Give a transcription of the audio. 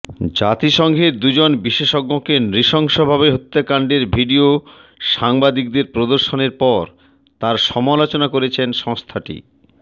জাতিসংঘের দুজন বিশেষজ্ঞকে নৃশংসভাবে হত্যাকাণ্ডের ভিডিও সাংবাদিকদের প্রদর্শনের পর তার সমালোচনা করেছে সংস্থাটি